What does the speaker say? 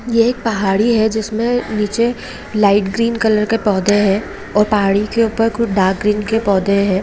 ये एक पहाड़ी है जिसमे निचे लाइट ग्रीन कलर के पौधे है और पहाड़ी के ऊपर डार्क ग्रीन के पौधे है।